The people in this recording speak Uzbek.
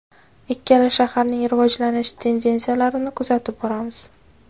Ikkala shaharning rivojlanish tendensiyalarini kuzatib boramiz.